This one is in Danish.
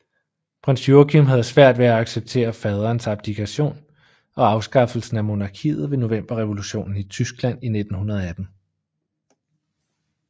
Prins Joachim havde svært ved at acceptere faderens abdikation og afskaffelsen af monarkiet ved Novemberrevolutionen i Tyskland i 1918